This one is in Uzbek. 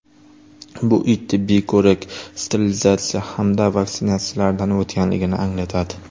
Bu it tibbiy ko‘rik, sterilizatsiya hamda vaksinatsiyalardan o‘tganligini anglatadi.